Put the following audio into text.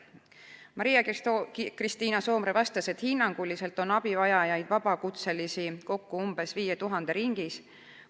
Maria-Kristiina Soomre vastas, et hinnanguliselt on abivajavaid vabakutselisi 5000 ringis.